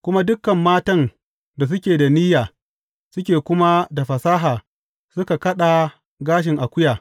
Kuma dukan matan da suke da niyya, suke kuma da fasaha, suka kaɗa gashin akuya.